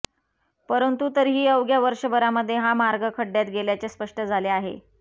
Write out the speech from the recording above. परंतु तरीही अवघ्या वर्षभरामध्ये हा मार्ग खड्ड्यात गेल्याचे स्पष्ट झाले आहे